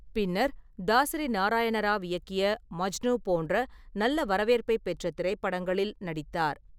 பின்னர், தசரி நாராயண ராவ் இயக்கிய மஜ்னு போன்ற நல்லா வரவேற்பைப் பெற்ற திரைப்படங்களில் நடித்தார்.